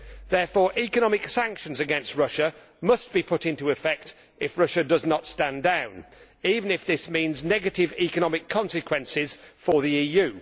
Therefore, economic sanctions against Russia must be put into effect if Russia does not stand down, even if this means negative economic consequences for the EU.